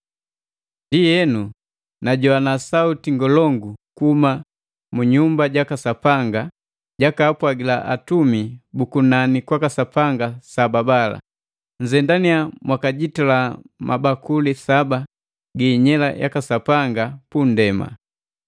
Ndienu, najoana sauti ngolongu kuhuma mu nyumba jaka Sapanga jakaapwagila atumi bukunanu kwaka Sapanga saba bala, “Nzendannya mwakajitala mabakuli saba gi inyela yaka Sapanga punndema.”